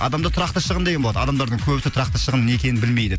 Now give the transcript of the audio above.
адамда тұрақты шығын деген болады адамдардың көбісі тұрақты шығын не екенін білмейді